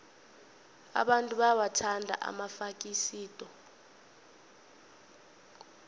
abantu bayawathanda amafasikodi